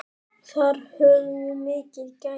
Þar höfum við mikil gæði.